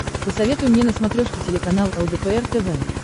посоветуй мне на смотрешке телеканал лдпр тв